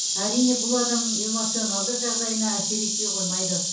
әрине бұл адамның эмоционалдық жағдайына әсер етпей қоймайды